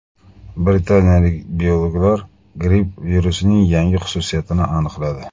Britaniyalik biologlar gripp virusining yangi xususiyatini aniqladi.